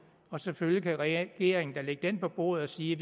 og selvfølgelig kan regeringen da lægge den på bordet og sige at